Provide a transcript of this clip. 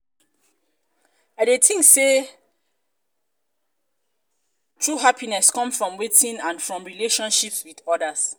i dey tink say dey tink say true happiness come from within and from relatioships with others.